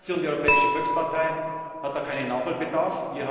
Meine Fraktion, die Europäische Volkspartei, hat da keinen Nachholbedarf.